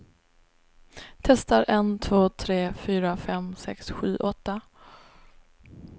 Testar en två tre fyra fem sex sju åtta.